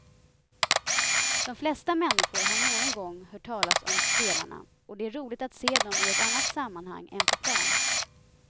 De flesta människor har någon gång hört talas om spelarna och det är roligt att se dem i ett annat sammanhang än på plan.